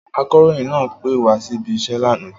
Akọ̀ròyìn náà pẹ́ wá síbi iṣẹ́ lánàá